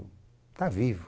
Está vivo.